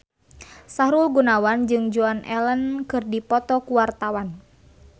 Sahrul Gunawan jeung Joan Allen keur dipoto ku wartawan